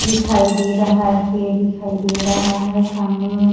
दिखाई दे रहा है पेड़ दिखाई दे रहा है सामने में --